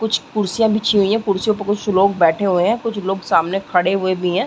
कुछ कुर्सियां बिछी हुई हैं। कुर्सियां पर कुछ लोग बैठे हुए हैं। कुछ लोग सामने खड़े हुए भी हैं।